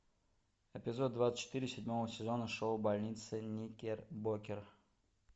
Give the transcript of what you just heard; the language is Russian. эпизод двадцать четыре седьмого сезона шоу больница никербокер